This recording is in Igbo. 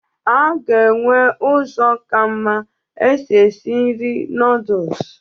A ga-enwe ụzọ ka mma èsi ési nri noodus